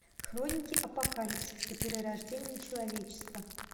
хроники апокалипсиса перерождение человечества